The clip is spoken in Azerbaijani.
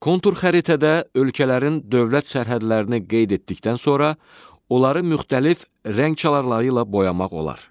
Kontur xəritədə ölkələrin dövlət sərhədlərini qeyd etdikdən sonra onları müxtəlif rəng çalarları ilə boyamaq olar.